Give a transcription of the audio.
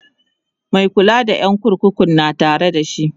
Mai kula da ƴan kurkukun na Tare da shi